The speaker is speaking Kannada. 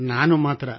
ನಾನು ಮಾತ್ರಾ